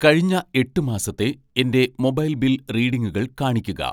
കഴിഞ്ഞ എട്ട് മാസത്തെ എൻ്റെ മൊബൈൽ ബിൽ റീഡിംഗുകൾ കാണിക്കുക.